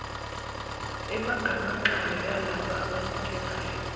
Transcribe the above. egamanxayo yalabo abanikelayo